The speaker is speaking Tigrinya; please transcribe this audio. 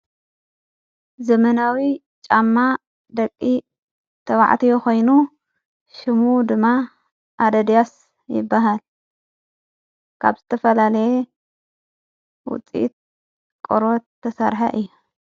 ዘመናዊ ጫማ ደቂ ተባዕቲ የኾይኑ ሽሙ ድማ ኣደድያስ ይበሃል ካብ ዝተፈላለየ ውፂት ቖረት ተሠርሐ እየ።